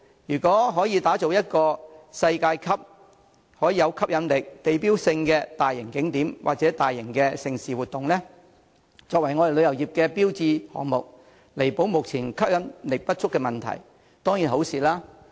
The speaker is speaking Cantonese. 如果可打造一個世界級、有吸引力、具地標性的大型景點或大型盛事活動，以作為我們旅遊業的標誌項目，彌補目前吸引力不足的問題，這當然是件好事。